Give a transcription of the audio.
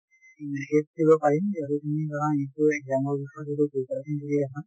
দিব পাৰিম যিহেতু তুমি ধৰা exam ৰ বিষয়ে যদি preparation কৰি আছা।